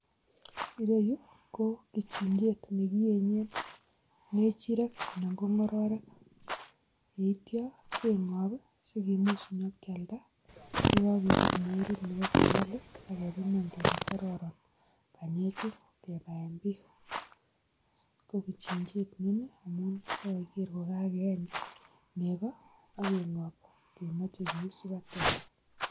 Kokichichet nekienyeee kechiryet anan kongororek kichichet yutok akotagu